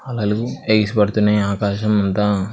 పడుతున్నాయి ఆకాశమంతా.